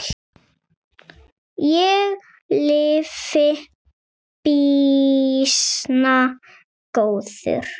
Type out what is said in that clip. Ég lifi býsna góðu lífi!